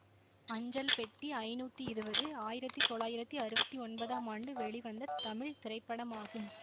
அஞ்சல் பெட்டி ஐநூத்தி இருவது ஆயிரத்தி தொள்ளாயிரத்தி அறுவத்தி ஒன்பதாம் ஆண்டு வெளிவந்த தமிழ் திரைப்படமாகும்